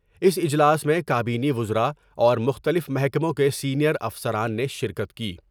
اس اجلاس میں کا مینی وزراء اور مختلف محکموں کے سینئر افسران نے شرکت کی ۔